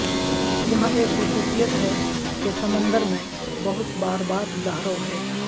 یہاں ایک خصوصیت ہے کہ سمندر میں بہت بار بار لہروں ہے